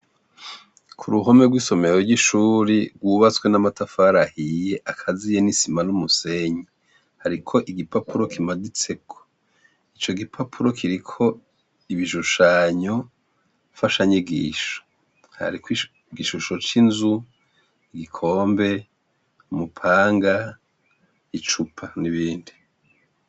Uruhome rw'icumba rwubase n'amatafarahiye rurakazeanesimar'umusenyi rufise umuryango w'icuma ufise ibiyo usize iranga iryera rufise inkingi zize iranga iryera hejuru hanritseko ari ubwiherero bw'abakobwa.